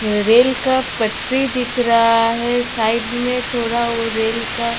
Rail का पटरी दिख रहा है साइड में थोड़ा वो रेल का.